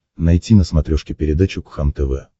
найти на смотрешке передачу кхлм тв